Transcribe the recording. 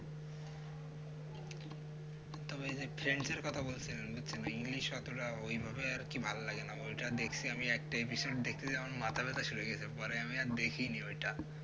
তবে যে friends র কথা বলছ english অতটা ওইভাবে আর কি ভালো লাগেনা দেখছি আমি একটা episode দেখতে আমার মাথা ব্যাথা শুরু হয়ে গেছে মানে আমি আর দেখিনি ওইটা